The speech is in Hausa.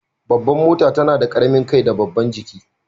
Babban mota tana da karamin kai da babban jiki.